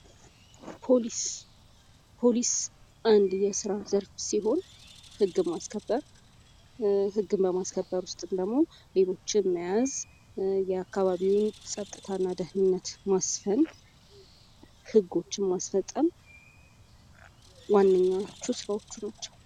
ፖሊስ ፖሊስ አንድ የሥራ ዘርፍ ሲሆን፤ ሕግ ማስከበር ሕግን በማስከበር ውስጥ ደግሞ ሌቦችን መያዝ፣ የአካባቢውን ፀጥታና ደኅንነት ማስፈን፣ ሕጎችን ማስፈጸም ዋነኛዎቹ ስራዎቹ ናቸው።